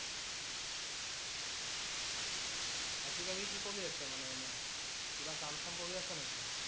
আজি কালি কি কৰি আছা মানে এনে? কিবা কাম চাম কৰি আছা নেকি?